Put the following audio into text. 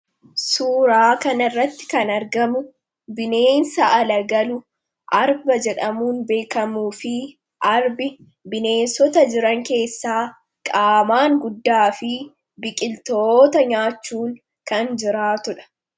Suuraa kana irratti kan argamu, bineensa ala galu, arba jedhamuu beekamuu fi arbi bineensota jiran keessaa qaamaan guddaa fi biqiltoota nyaaachuun kan jiraatuudha.